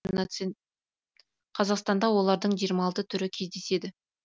қазақстанда олардың жиырма алты түрі кездеседі